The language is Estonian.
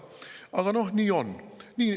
Aga noh, nii on.